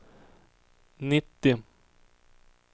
nittio